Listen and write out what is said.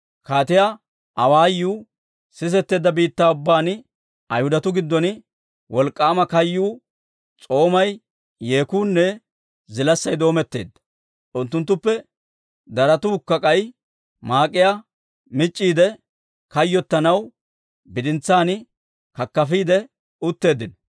Kaatiyaa awaayuu sisetteedda biittaa ubbaan Ayhudatuu giddon wolk'k'aama kayyuu, s'oomay, yeekuunne zilaassay doometteedda. Unttunttuppe darotuukka k'ay maak'iyaa mic'c'iide, kayyottanaw bidintsaan kakafiidde utteeddino.